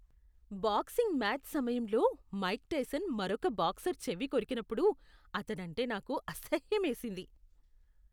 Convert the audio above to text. Boxing match సమయంలో Mike Tyson మరొక boxer చెవి కొరికినప్పుడు అతడంటే నాకు అసహ్యమేసింది.